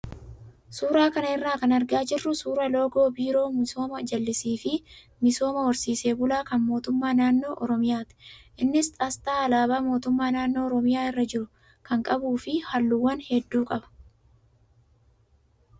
Suuraa kana irraa kan argaa jirru suuraa loogoo biiroo misooma jallisii fi misooma horsiise bulaa kan mootummaa naannoo oromiyaati. Innis asxaa alaabaa mootummaa naannoo ormiyaa irra jiru kan qabuu fi halluuwwan hedduu qaba.